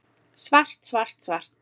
Svart, svart, svart.